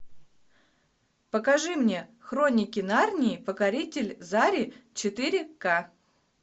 покажи мне хроники нарнии покоритель зари четыре ка